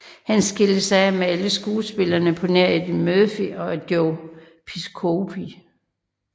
Han skilte sig af med alle skuespillerne på nær Eddie Murphy og Joe Piscopo